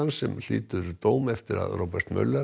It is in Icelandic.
sem hlýtur dóm eftir að Robert